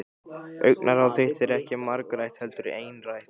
Augnaráð þitt er ekki margrætt heldur einrætt.